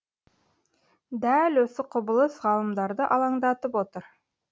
дәл осы құбылыс ғалымдарды алаңдатып отыр